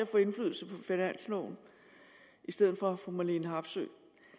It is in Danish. får indflydelse på finansloven i stedet for fru marlene harpsøe